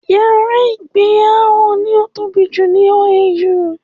Yàrá ìgbé Áwọ̀ ní ó tóbi jù ní OAU